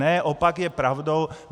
Ne, opak je pravdou.